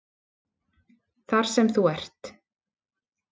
Þar sem þú ert?